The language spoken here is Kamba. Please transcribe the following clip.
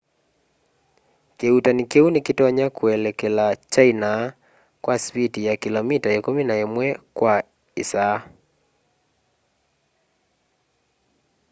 kiuutani kiu ni kitonya kuelekela china kwa sipiti ya kilomita ikumi na imwe kwa isaa